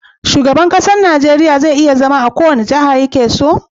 Shugaban ƙasar Nigeria je iya zama a kowace jaha yakeso?